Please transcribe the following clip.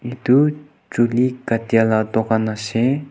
etu chuli kattia lah dukan ase.